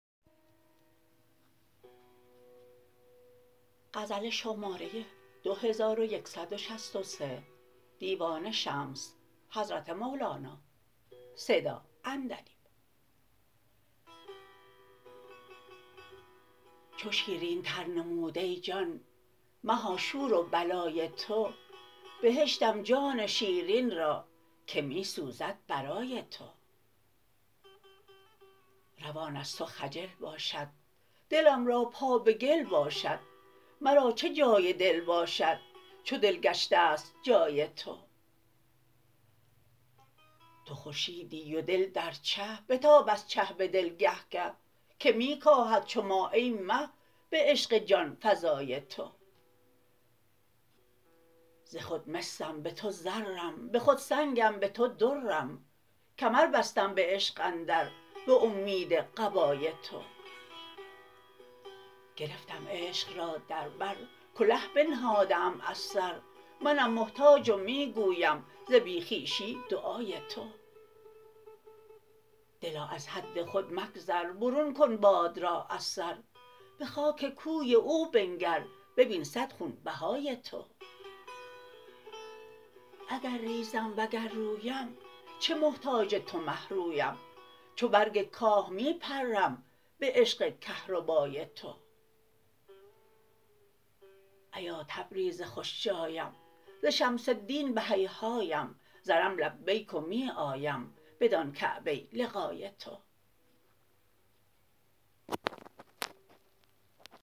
چو شیرینتر نمود ای جان مها شور و بلای تو بهشتم جان شیرین را که می سوزد برای تو روان از تو خجل باشد دلم را پا به گل باشد مرا چه جای دل باشد چو دل گشته ست جای تو تو خورشیدی و دل در چه بتاب از چه به دل گه گه که می کاهد چو ماه ای مه به عشق جان فزای تو ز خود مسم به تو زرم به خود سنگم به تو درم کمر بستم به عشق اندر به اومید قبای تو گرفتم عشق را در بر کله بنهاده ام از سر منم محتاج و می گویم ز بی خویشی دعای تو دلا از حد خود مگذر برون کن باد را از سر به خاک کوی او بنگر ببین صد خونبهای تو اگر ریزم وگر رویم چه محتاج تو مه رویم چو برگ کاه می پرم به عشق کهربای تو ایا تبریز خوش جایم ز شمس الدین به هیهایم زنم لبیک و می آیم بدان کعبه لقای تو